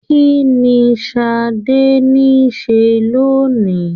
Kínní Sadé nise lónìí?